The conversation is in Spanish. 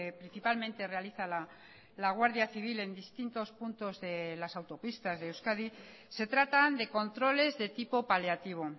principalmente realiza la guardia civil en distintos puntos de las autopistas de euskadi se trata de controles de tipo paliativo